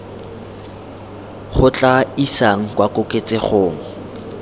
go tla isang kwa koketsegong